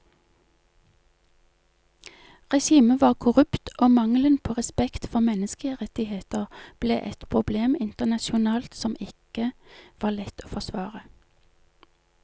Regimet var korrupt og mangelen på respekt for menneskerettigheter ble et problem internasjonalt som ikke var lett å forsvare.